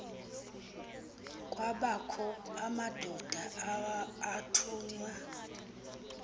kwabakho amadoda athunywa